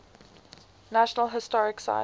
national historic site